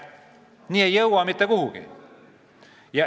Nii ei jõua mitte kuhugi.